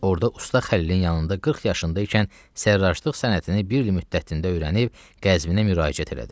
Orda Usta Xəlilin yanında 40 yaşında ikən sərraclıq sənətini bir il müddətində öyrənib Qəzvinə müraciət elədi.